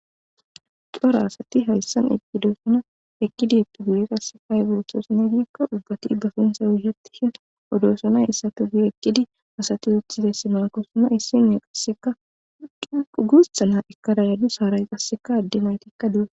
cora asati hayssan eqqidosona ekkidi eppi guye qasseka ayburotoosonegikko ubbati bafintha wuhetishin odosonay issatu gu ekkidi asati uthizesse maakosana issinee qasseka quguussa na ekarayadu saaray qasseka adde maytikka due